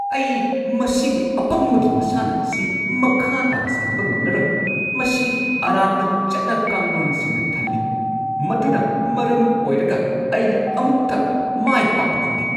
ꯑꯩ ꯃꯁꯤꯒꯤ ꯑꯄꯪꯕꯒꯤ ꯃꯁꯥꯟꯅ ꯑꯁꯤ ꯃꯈꯥ ꯇꯥꯅ ꯁꯥꯟꯅꯕ ꯉꯝꯂꯔꯣꯏ꯫ ꯃꯁꯤ ꯑꯔꯥꯟꯕ ꯆꯠꯅ ꯀꯥꯡꯂꯣꯟꯁꯤꯡꯅ ꯊꯜꯂꯤ ꯃꯗꯨꯅ ꯃꯔꯝ ꯑꯣꯏꯔꯒ ꯑꯩꯅ ꯑꯃꯨꯛꯇ ꯃꯥꯏ ꯄꯥꯛꯄ ꯉꯝꯗꯦ꯫